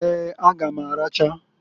Eeǃ A ga m aracha.